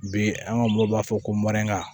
Bi an ka mɔgɔw b'a fɔ ko